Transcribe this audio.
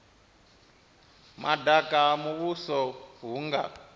madaka ha muvhuso hu nga